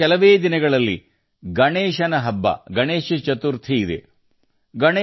ಇನ್ನು ಕೆಲವೇ ದಿನಗಳಲ್ಲಿ ಗಣೇಶ ಚತುರ್ಥಿ ಭಗವಾನ್ ಗಣೇಶನನ್ನು ಪೂಜಿಸುವ ಹಬ್ಬ ಬರುತ್ತದೆ